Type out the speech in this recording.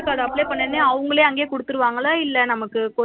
Aadhar card apply பண்ணவுடனே அவங்களே அங்க குடுத்துருவாங்கள இல்ல நமக்கு